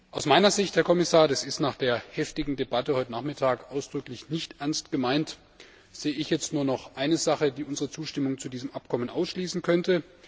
Aus meiner Sicht, Herr Kommissar, das ist nach der heftigen Debatte heute Nachmittag ausdrücklich nicht ernst gemeint sehe ich jetzt nur noch eine Sache, die unsere Zustimmung zu diesem Abkommen ausschließen könnte.